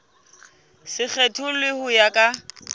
se kgethollwe ho ya ka